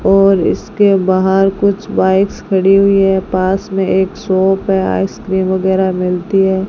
और इसके बाहर कुछ बाइक्स खड़ी हुई है पास में एक शॉप है आइसक्रीम वगैरा मिलती है।